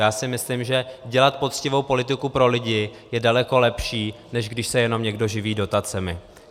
Já si myslím, že dělat poctivou politiku pro lidi je daleko lepší, než když se jenom někdo živí dotacemi.